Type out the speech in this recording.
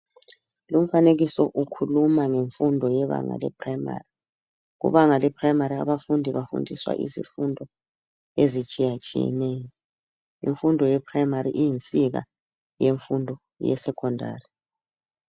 Lumfanekiso ukhuluma ngemfundo yebanga le primary . Kubanga leprimary abafundi bafundiswa izifundo ezitshiya tshiyeneyo . Imfundo yeprimary iyinsika yemfundo yesecondary .